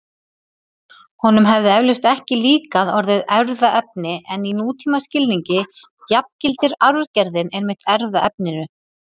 Honum hefði eflaust ekki líkað orðið erfðaefni en í nútímaskilningi jafngildir arfgerðin einmitt erfðaefninu.